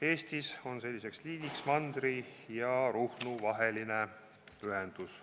Eestis on selline liin mandri ja Ruhnu vaheline ühendus.